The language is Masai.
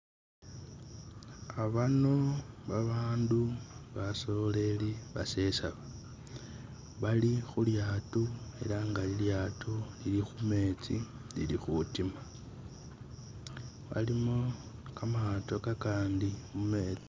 Abaano babandu basoreri basesaba. Bali khu lyato ela nga lilyato lili khumetsi lili khutima. Walimo kamaato kakandi mumetsi.